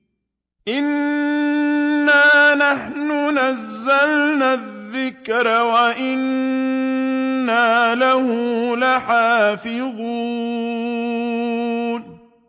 إِنَّا نَحْنُ نَزَّلْنَا الذِّكْرَ وَإِنَّا لَهُ لَحَافِظُونَ